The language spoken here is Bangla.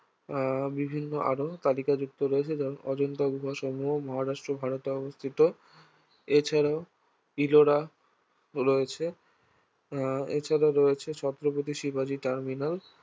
আহ বিভিন্ন আর তালিকাযুক্ত রয়েছে যেমন অজন্তা গুহাসমূহ মহারাষ্ট্র ভারতে অবস্থিত এছাড়াও ইলোরা রয়েছে আহ এছাড়াও রয়েছে ছত্রপতি শিবাজী টার্মিনাস